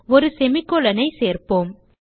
ஒரு semicolon ஐ சேர்ப்போம்